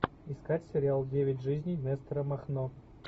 искать сериал девять жизней нестора махно